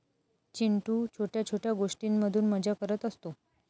चिंटू छोट्या छोट्या गोष्टींमधून मजा करत असतो.